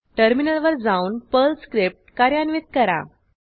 टर्मिनलवर जाऊन Perl script कार्यान्वित करा